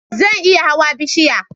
Zan iya hawan bishiya